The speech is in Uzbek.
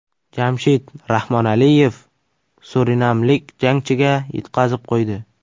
Jamshid Rahmonaliyev surinamlik jangchiga yutqazib qo‘ydi.